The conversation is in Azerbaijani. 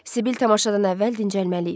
Sibil tamaşadan əvvəl dincəlməli idi.